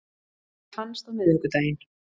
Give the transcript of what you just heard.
Hann fannst á miðvikudaginn